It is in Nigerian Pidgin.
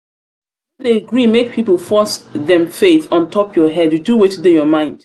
no dey gree make pipu force dem faith on top your head do wetin dey your mind.